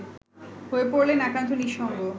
হয়ে পড়লেন একান্ত নিঃসঙ্গ